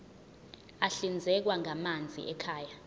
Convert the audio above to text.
ahlinzekwa ngamanzi ekhaya